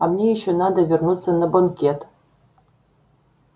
а мне ещё надо вернуться на банкет